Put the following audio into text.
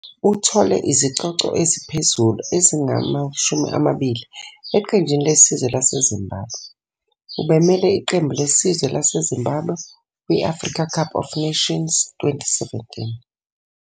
Uthole izicoco eziphezulu ezingama-20 eqenjini lesizwe laseZimbabwe. Ubemele iqembu lesizwe laseZimbabwe kwi- Africa Cup of Nations 2017.